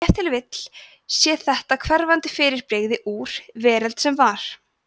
ef til vill sé þetta hverfandi fyrirbrigði úr „veröld sem var“